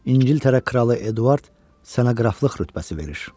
İngiltərə kralı Eduard sənə qraflıq rütbəsi verir.